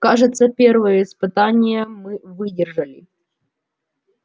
кажется первое испытание мы выдержали